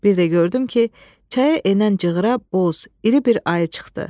Bir də gördüm ki, çaya enən cığıra boz, iri bir ayı çıxdı.